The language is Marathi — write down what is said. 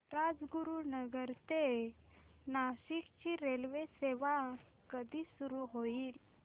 राजगुरूनगर ते नाशिक ची रेल्वेसेवा कधी सुरू होईल